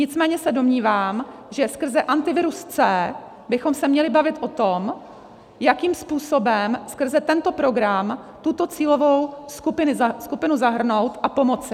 Nicméně se domnívám, že skrze Antivirus C bychom se měli bavit o tom, jakým způsobem skrze tento program tuto cílovou skupinu zahrnout a pomoci.